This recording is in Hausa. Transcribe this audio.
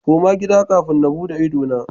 Koma gida kafin na bude idona.